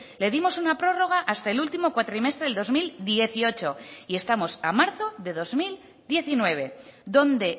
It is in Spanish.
le dimos una prórroga hasta el último cuatrimestre del dos mil dieciocho y estamos a marzo de dos mil diecinueve dónde